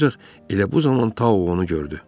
Ancaq elə bu zaman Tao onu gördü.